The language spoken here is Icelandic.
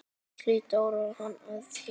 Gísli dró hana að sér.